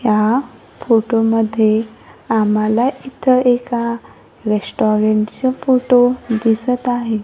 या फोटो मध्ये आम्हाला इथं एका रेस्टॉरंट च फोटो दिसत आहे.